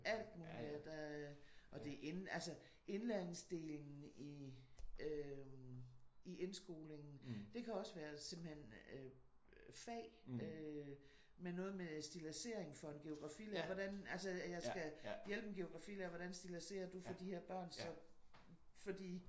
Alt muligt ja. Der og det er ind altså indlæringsdelen i øh i indskolingen. Det kan også være simpelthen øh fag øh med noget med stilladsering for en geografilærer hvordan altså at jeg skal hjælpe en geografilærer hvordan stilladserer du for de her børn så fordi